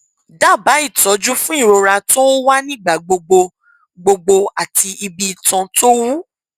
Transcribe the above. dábàá ìtọjú fún ìrora tó ń wá nígbà gbogbo gbogbo àti ibi itan tó wú